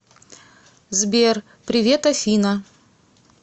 сбер привет афина